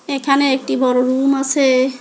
এখানে একটি বড় রুম আসে।